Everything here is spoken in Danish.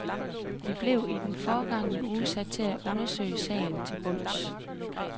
De blev i den forgangne uge sat til at undersøge sagen til bunds.